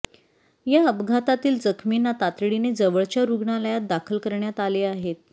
या अपघातातील जखमींना तातडीने जवळच्या रूग्णालयात दाखल करण्यात आले आहेत